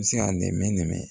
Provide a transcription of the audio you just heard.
Se ka nɛmɛnɛmɛ